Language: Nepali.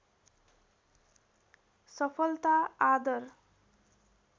सफलता आदर